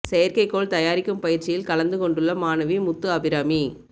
செயற்கைக் கோள் தயாரிக்கும் பயிற்சியில் கலந்து கொண்டுள்ள மாணவி முத்து அபிராமி